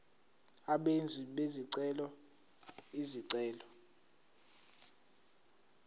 abenzi bezicelo izicelo